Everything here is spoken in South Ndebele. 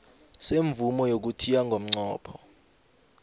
semvumo yokuthiya ngomnqopho